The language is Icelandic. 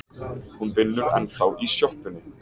Hún vinnur ennþá í sjoppunni.